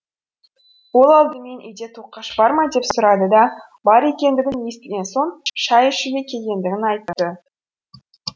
ол алдымен үйде тоқаш бар ма деп сұрады да бар екендігін естіген соң шай ішуге келгендігін айтты